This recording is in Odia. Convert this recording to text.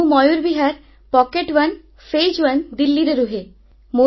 ମୁଁ Mayur Vihar pocket one phase one ଦିଲ୍ଲୀରେ ରହେ